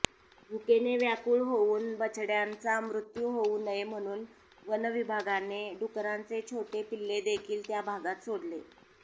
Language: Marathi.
भूकेने व्याकुळ होऊन बछड्यांचा मृत्यू होऊ नये म्हणून वनविभागाने डुकरांचे छोटे पिल्लंदेखिल त्या भागात सोडले